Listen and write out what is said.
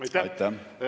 Aitäh!